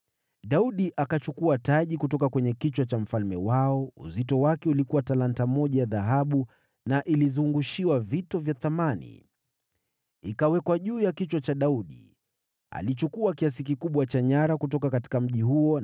Daudi akachukua taji kutoka kwa kichwa cha mfalme wao, lililokuwa na uzito wa talanta moja ya dhahabu, nayo ilizungushiwa vito vya thamani. Ikawekwa juu ya kichwa cha Daudi. Alichukua nyara nyingi kutoka mjini huo.